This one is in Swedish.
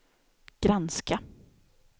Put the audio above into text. granska